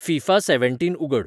FIFA seventeen उगड